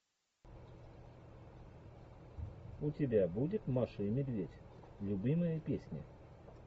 у тебя будет маша и медведь любимые песни